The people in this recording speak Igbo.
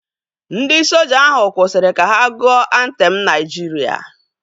Ndị soja ahu kwụsịrị ka ha gụọ antem Naijiria